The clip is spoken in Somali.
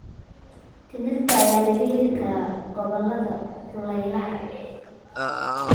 Timirta ayaa laga helaa gobollada kulaylaha.